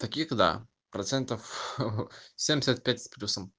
таких да процентов семьдесят пять с плюсом